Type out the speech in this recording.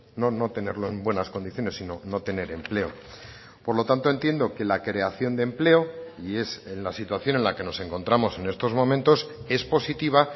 no no tenerlo en buenas condiciones sino no tener empleo por lo tanto entiendo que la creación de empleo y es en la situación en la que nos encontramos en estos momentos es positiva